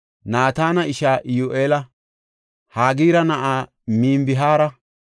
Naatana ishaa Iyyu7eela, Hagira na7aa Mibhaara,